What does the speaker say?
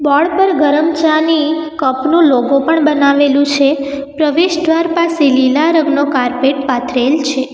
Board પર ગરમ ચાની કપનું લોગો પણ બનાવેલું છે પ્રવેશ દ્વાર પાસે લીલા રંગનો કાર્પેટ પાથરેલ છે.